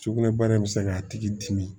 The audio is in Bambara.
Sugunɛbara in bɛ se k'a tigi dimi